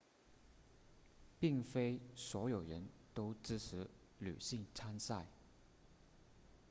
并非所有人都支持女性参赛